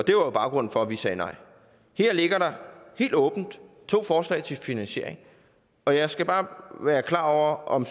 jo baggrunden for at vi sagde nej her ligger der helt åbent to forslag til finansiering og jeg skal bare være klar over om